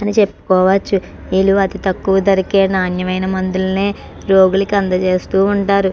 అని చెప్పుకోవచ్చు ఈలు అతి తక్కువ ధరకే నాణ్యమైన మందులనే రోగులకు అందజేస్తూ ఉంటారు.